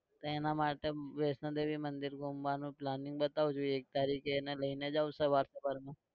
તો એના માટે વૈષ્ણવદેવી મંદિર ઘૂમવાનો planning બનાવું છું એક તારીખે એને લઇને જાવ સવાર સવારમાં.